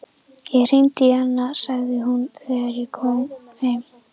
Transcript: Ég hringdi í hana, sagði hún þegar hann kom heim.